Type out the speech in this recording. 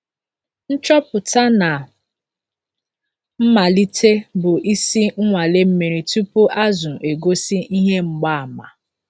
Nchọpụta na mmalite bụ isi - nnwale mmiri tupu azụ egosi ihe mgbaàmà.